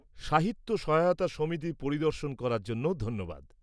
-সাহিত্য সহায়তা সমিতি পরিদর্শন করার জন্য ধন্যবাদ।